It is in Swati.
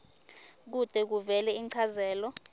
kute kuvele inchazelo